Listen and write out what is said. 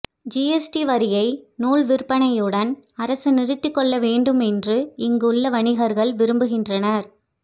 GST வரியை நூல் விற்பனையுடன் அரசு நிறுத்துக்கொள்ள வேண்டும் என்று இங்கு உள்ள வணிகர்கள் விரும்புகின்றனர்